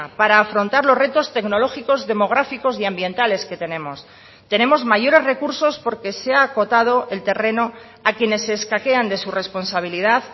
para afrontar los retos tecnológicos demográficos y ambientales que tenemos tenemos mayores recursos porque se ha acotado el terreno a quienes se escaquean de su responsabilidad